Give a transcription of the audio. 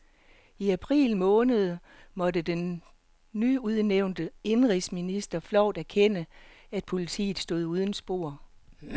I april sidste år måtte den nyudnævnte indenrigsminister flovt erkende, at politiet stod uden spor.